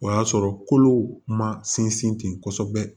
O y'a sɔrɔ kolo ma sinsin ten kosɛbɛ